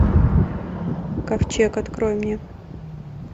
ковчег открой мне